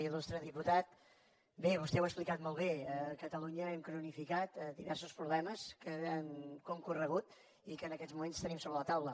ilbé vostè ho ha explicat molt bé a catalunya hem cronificat diversos problemes que han concorregut i que en aquests moments tenim sobre la taula